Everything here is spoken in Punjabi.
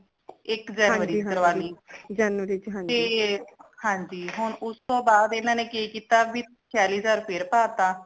ਇਕ ਜਨਵਰੀ ਚ ਕਰਾ ਲੀ ਤੇ ਹਾਂਜੀ ਹੁਣ ਉਸ ਤੋ ਬਾਅਦ ਇਨਾ ਨੇ ਕਿ ਕੀਤਾ ਭੀ ਛਿਆਲੀ ਹਜਾਰ ਫਿਰ ਪਾਤਾ